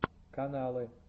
каналы